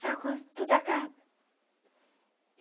Sabe quando tudo acaba?